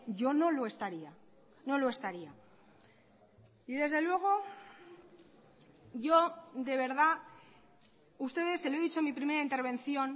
yo no lo estaría no lo estaría y desde luego yo de verdad ustedes se lo he dicho en mi primera intervención